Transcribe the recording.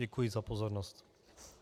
Děkuji za pozornost.